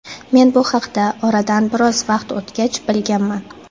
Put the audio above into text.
Men bu haqda oradan biroz vaqt o‘tgach bilganman.